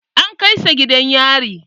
An kai sa gidan yari.